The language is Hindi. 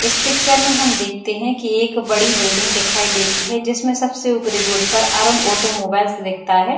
इस पिक्चर में हम देखते है कि एक बड़ी बिल्डिंग दिखाई देती है जिसमें सबसे ऊपरी बोर्ड पर अरुण ऑटो मोबाइल्स दिखता है।